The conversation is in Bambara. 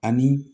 Ani